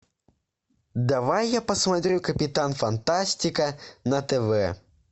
давай я посмотрю капитан фантастика на тв